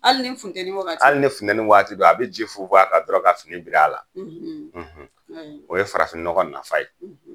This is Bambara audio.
Hali ni funtɛni wagati. Hali ni funtɛni waati don, a bɛ ji funfun a kan dɔrɔn ka fini biri a la. O ye farafinnɔgɔn nafa ye.